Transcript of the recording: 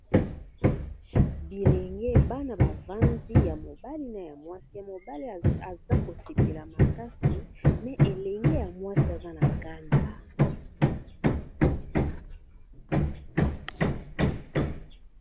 Bilenge bana bavandi ya mobale na ya mwasi ya mobale, aza kosepela makasi me elenge ya mwasi aza na kanda.